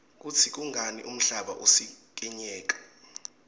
kutsi kungani umhlaba usikinyeka